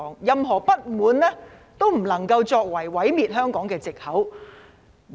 任何不滿都不能夠成為毀滅香港的藉口。